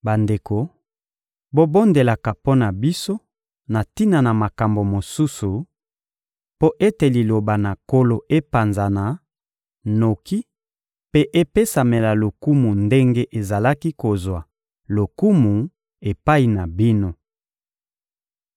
Bandeko, bobondelaka mpo na biso na tina na makambo mosusu, mpo ete Liloba na Nkolo epanzana noki mpe epesamela lokumu ndenge ezalaki kozwa lokumu epai na bino.